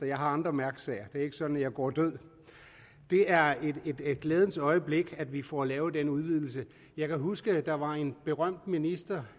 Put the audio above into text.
jeg har andre mærkesager det er ikke sådan at jeg går død det er et glædens øjeblik at vi får lavet den udvidelse jeg kan huske at der var en berømt minister